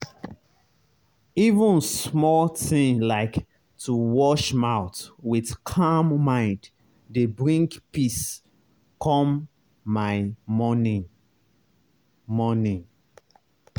even small thing like to wash mouth with calm mind dey bring peace come my morning. morning.